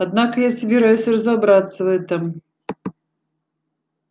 однако я собираюсь разобраться в этом